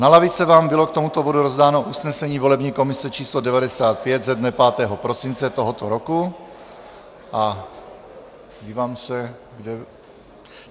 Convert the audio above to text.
Na lavice vám bylo k tomuto bodu rozdáno usnesení volební komise č. 95 ze dne 5. prosince tohoto roku.